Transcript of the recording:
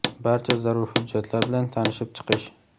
barcha zarur hujjatlar bilan tanishib chiqish;.